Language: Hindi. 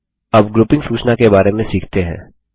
अब ग्रुपिंग सूचना के बारे में सीखते हैं